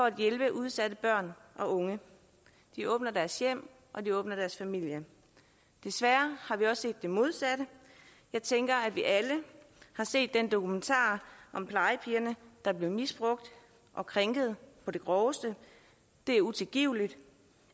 at hjælpe udsatte børn og unge de åbner deres hjem og de åbner deres familie desværre har vi også det modsatte jeg tænker at vi alle har set den dokumentar om plejepigerne der blev misbrugt og krænket på det groveste det er utilgiveligt